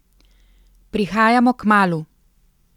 Prihajamo kmalu!